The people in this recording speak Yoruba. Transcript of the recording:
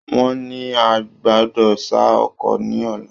Wọ́n ní a gbọ́dọ̀ ṣá oko ní ọ̀la.